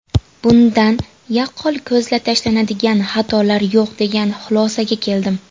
Bundan yaqqol ko‘zga tashlanadigan xatolar yo‘q degan xulosaga keldim.